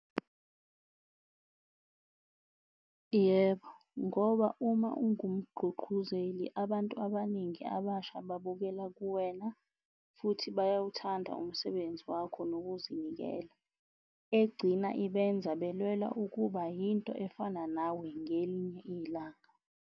Yebo, ngoba uma ungumgqugquzeli abantu abaningi abasha babukela kuwena futhi bayawuthanda umsebenzi wakho nokuzinikela, egcina ibenza belwela ukuba yinto efana nawe ngelinye ilanga.